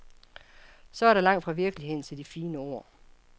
Så er der langt fra virkeligheden til de fine ord.